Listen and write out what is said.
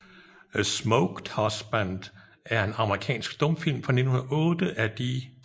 A Smoked Husband er en amerikansk stumfilm fra 1908 af D